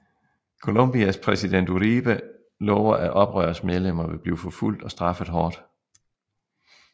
Colombias præsident Uribe lover at Oprørs medlemmer vil blive forfulgt og straffet hårdt